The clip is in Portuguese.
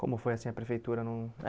Como foi assim a prefeitura? Não eh